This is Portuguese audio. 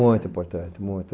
Muito importante, muito.